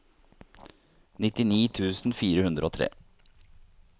nittini tusen fire hundre og tre